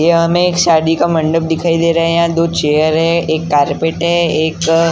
यहाँ हमें एक शादी का मंडप दिखाई दे रहा हैं यहाँ दो चेयर हैं एक कारपेट हैं एक अ।